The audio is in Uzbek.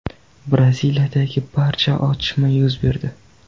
Braziliyadagi barda otishma yuz berdi.